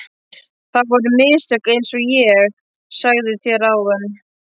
Það voru mistök einsog ég sagði þér áðan.